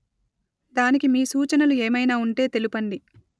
దానికి మీ సూచనలు ఏమయినా ఉంటే తెలుపండి